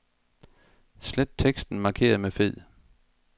Slet teksten markeret med fed.